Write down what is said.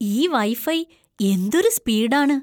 ഈ വൈഫൈ എന്തൊരു സ്പീഡ് ആണ്!